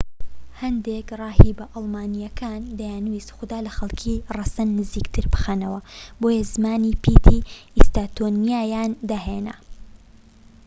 هەندێک ڕاهیبە ئەڵمانییەکان دەیانویست خودا لە خەڵکی ڕەسەن نزیکتر بخەنەوە بۆیە زمانی پیتی ئیستۆنیاییان داهێنا